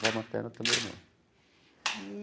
Avó materna também não.